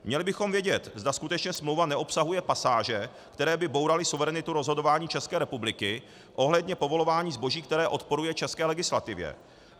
Měli bychom vědět, zda skutečně smlouva neobsahuje pasáže, které by bouraly suverenitu rozhodování České republiky ohledně povolování zboží, které odporuje české legislativě.